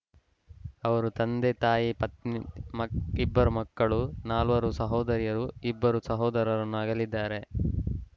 ಅವರು ತಂದೆ ತಾಯಿ ಪತ್ನಿ ಮಕ ಇಬ್ಬರು ಮಕ್ಕಳು ನಾಲ್ವರು ಸಹೋದರಿಯರು ಇಬ್ಬರು ಸಹೋದರರನ್ನು ಅಗಲಿದ್ದಾರೆ